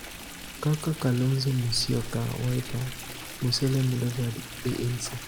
kaka Kalonzo Musyoka (Wiper), Musalia Mudavadi (ANC),